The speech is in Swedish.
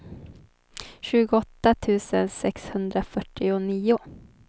tjugoåtta tusen sexhundrafyrtionio